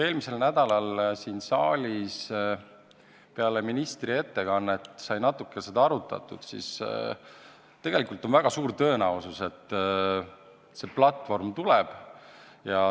Eelmisel nädalal peale ministri ettekannet siin saalis sai seda natuke arutatud ja selgus, et tegelikult on väga suur tõenäosus, et see platvorm tuleb.